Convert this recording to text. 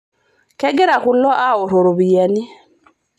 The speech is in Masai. Kegira kulo aaoroto ropiyiani.